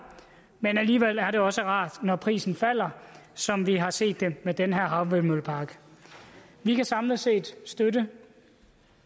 men alligevel er det også rart når prisen falder som vi har set det med den her havvindmøllepark vi kan samlet set støtte